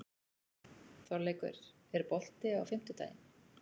Þorleikur, er bolti á fimmtudaginn?